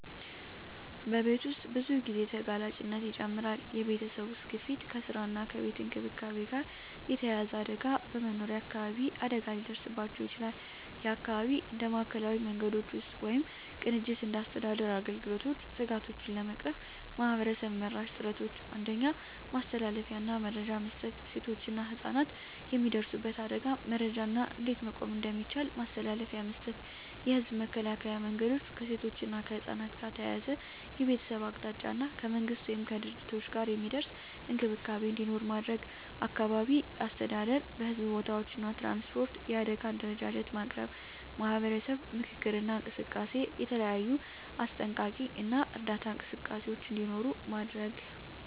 በቤት ውስጥ ብዙ ጊዜ ተጋላጭነት ይጨምራል የቤተሰብ ውስጥ ግፊት ከስራ እና ከቤት እንክብካቤ ጋር የተያያዘ አደጋ በመኖሪያ አካባቢ አደጋ ሊደርስባቸው ይችላል (የአካባቢ እንደ ማዕከላዊ መንገዶች ውስጥ ወይም ቅንጅት እንደ አስተዳደር አገልግሎቶች ስጋቶቹን ለመቅረፍ ማህበረሰብ-መራሽ ጥረቶች 1. ማስተላለፊያ እና መረጃ መስጠት ሴቶችና ህፃናት የሚደርሱበት አደጋን መረጃ እና እንዴት መቆም እንደሚቻል ማስተላለፊያ መስጠት። የህዝብ መከላከያ መንገዶች ከሴቶች እና ከህፃናት ጋር ተያያዘ የቤተሰብ አቅጣጫ እና ከመንግሥት ወይም ከድርጅቶች ጋር የሚደርስ እንክብካቤ እንዲኖር ማድረግ። አካባቢ አስተዳደር በሕዝብ ቦታዎች እና ትራንስፖርት የአደጋ አደረጃጀት ማቅረብ። ማህበረሰብ ምክክር እና እንቅስቃሴ የተለያዩ አስጠንቀቂ እና እርዳታ እንቅስቃሴዎች እንዲኖሩ ማድረግ።